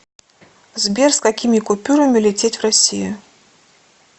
сбер с какими купюрами лететь в россию